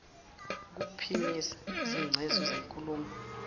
ukuphimisa izingcezu zenkulumo